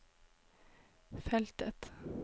feltet